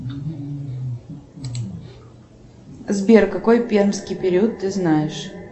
сбер какой пермский период ты знаешь